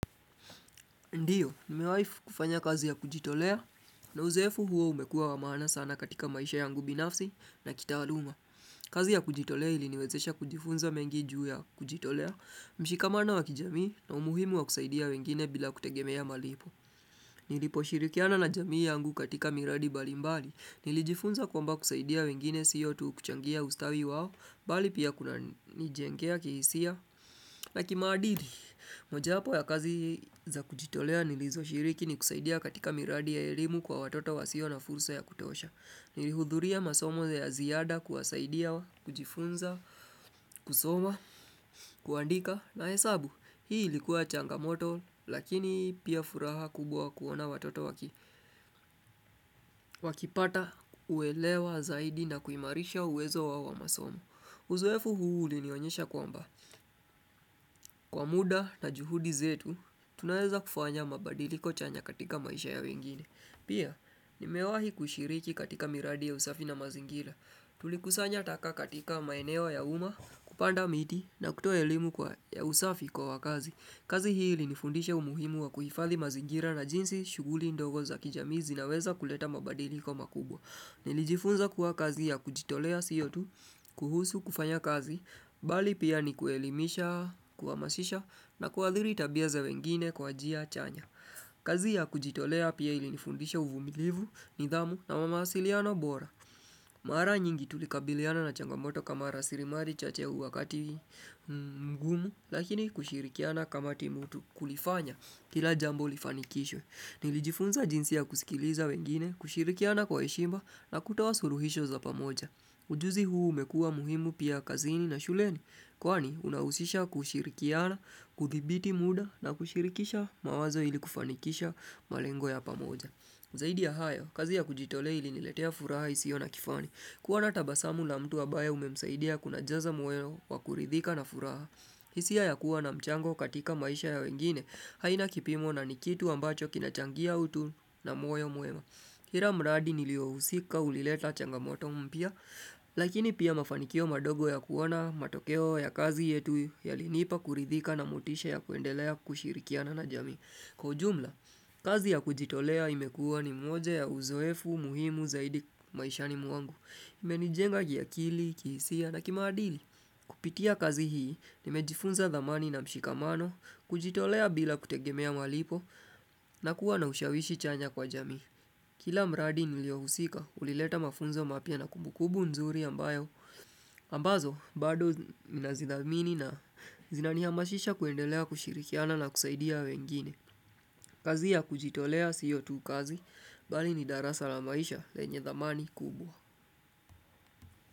Ndio, nimewai kufanya kazi ya kujitolea, na uzoefu huo umekua wa maana sana katika maisha yangu binafsi na kitaaluma. Kazi ya kujitolea iliniwezesha kujifunza mengi juu ya kujitolea, mshikamano wa kijamii, na umuhimu wa kusaidia wengine bila kutegemea malipo. Niliposhirikiana na jamii yangu katika miradi mbali mbali, nilijifunza kwamba kusaidia wengine sio tu kuchangia ustawi wao, bali pia kunanijengea kihisia. Na kimaadili, mojawapo ya kazi za kujitolea nilizoshiriki ni kusaidia katika miradi ya elimu kwa watoto wasio na fursa ya kutosha. Nilihudhuria masomo ya ziada kuwasaidia kujifunza, kusoma, kuandika na hesabu. Hii likuwa changamoto lakini pia furaha kubwa kuona watoto wakipata kuelewa zaidi na kuimarisha uwezo wao wa masomo. Uzoefu huu ulinionyesha kwamba kwa muda na juhudi zetu tunaweza kufanya mabadiliko chanya katika maisha ya wengine. Pia nimewahi kushiriki katika miradi ya usafi na mazingira. Tulikusanya taka katika maeneo ya umma, kupanda miti na kutoa elimu ya usafi kwa wakazi. Kazi hii ilinifundisha umuhimu wa kuhifadhi mazigira na jinsi shughuli ndogo za kijamii zinaweza kuleta mabadiliko makubwa. Nilijifunza kuwa kazi ya kujitolea sio tu kuhusu kufanya kazi, bali pia ni kuelimisha, kuhamasisha na kuadhiri tabia za wengine kwa njia chanya. Kazi ya kujitolea pia ilinifundisha uvumilivu, nidhamu na mawasiliano bora. Mara nyingi tulikabiliana na changamoto kama rasilimali chache wakati mgumu, lakini kushirikiana kama timu tu kulifanya kila jambo lifanikishwe. Nilijifunza jinsi ya kusikiliza wengine, kushirikiana kwa heshima na kutoa suluhisho za pamoja. Ujuzi huu umekua muhimu pia kazini na shuleni kwani unahusisha kushirikiana, kuthibiti muda na kushirikisha mawazo ili kufanikisha malengo ya pamoja. Zaidi ya hayo, kazi ya kujitolea iliniletea furaha isiyo na kifani. Kuona tabasamu na mtu ambaye umemsaidia kunajaza moyo wa kuridhika na furaha. Hisia ya kuwa na mchango katika maisha ya wengine haina kipimo na ni kitu ambacho kinachangia utu na moyo mwema. Kila mradi niliyohusika ulileta changamoto mpya, lakini pia mafanikio madogo ya kuona matokeo ya kazi yetu yalinipa kuridhika na motisha ya kuendelea kushirikiana na jamii. Kwa ujumla, kazi ya kujitolea imekua ni moja ya uzoefu muhimu zaidi maishani mwangu. Imenijenga kiakili, kihisia na kimaadili. Kupitia kazi hii, nimejifunza thamani na mshikamano, kujitolea bila kutegemea malipo na kuwa na ushawishi chanya kwa jamii. Kila mradi niliohusika, ulileta mafunzo mapya na kumbu kumbu nzuri ambayo, ambazo bado ninazidhamini na zinanihamashisha kuendelea kushirikiana na kusaidia wengine. Kazi ya kujitolea sio tu kazi, bali ni darasa la maisha lenye thamani kubwa.